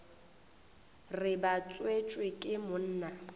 re ba tswetšwe ke monna